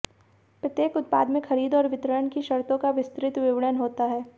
प्रत्येक उत्पाद में खरीद और वितरण की शर्तों का विस्तृत विवरण होता है